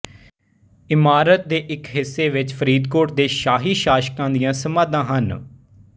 ਇਮਾਰਤ ਦੇ ਇੱਕ ਹਿੱਸੇ ਵਿੱਚ ਫ਼ਰੀਦਕੋਟ ਦੇ ਸ਼ਾਹੀ ਸ਼ਾਸਕਾਂ ਦੀਆਂ ਸਮਾਧਾਂ ਹਨ